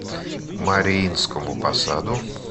мариинскому посаду